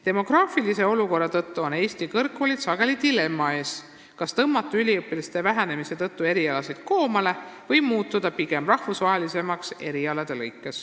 Demograafilise olukorra tõttu on Eesti kõrgkoolid sageli dilemma ees, kas tõmmata erialasid üliõpilaste arvu vähenemise tõttu koomale või muutuda erialati rahvusvahelisemaks.